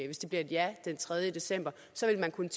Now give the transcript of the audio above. hvis det bliver et ja den tredje december så ville man kunne